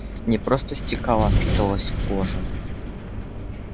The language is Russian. не просто стекала а впитывалась в кожу